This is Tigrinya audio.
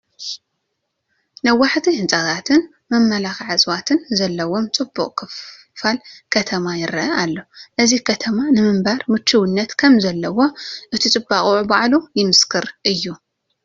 ነዋሕቲ ህንፃታትን መመላክዒ እፅዋትን ዘለዉዎ ፅቡቕ ክፋል ከተማ ይርአ ኣሎ፡፡ እዚ ከተማ ንምንባር ምቹውነት ከምዘለዎ እቲ ፅባቐኡ ባዕሉ ምስክር እዩ፡፡